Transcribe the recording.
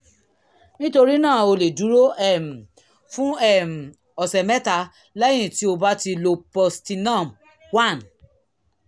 nítorí náà o lè dúró um fún um ọ̀sẹ̀ mẹ́ta lẹ́yìn tí o bá ti lo postinor 1